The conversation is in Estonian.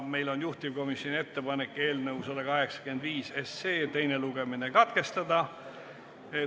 Meil on juhtivkomisjoni ettepanek eelnõu 185 teine lugemine katkestada.